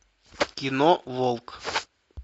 кино волк